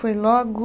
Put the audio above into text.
Foi logo